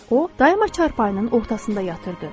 O, daima çarpayının ortasında yatırdı.